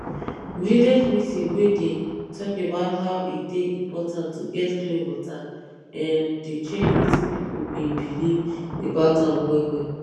village meeting wey dey talk about how e dey important to get clean water[um]dey change wetin pipo bin believe about am well well